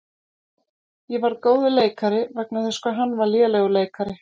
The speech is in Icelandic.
Ég varð góður leikari vegna þess hvað hann var lélegur leikari.